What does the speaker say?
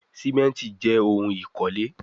Simenti jé òun ikole